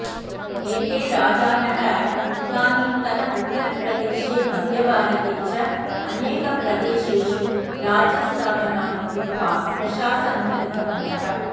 एते राजानः इदानीन्तनउत्तरप्रदेशे मध्यभारते च अनेकप्रदेशेषु राज्यस्थापनानि कृत्वा प्रशासनं कृतवन्तः